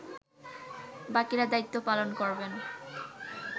বাকিরা দায়িত্ব পালন করবেন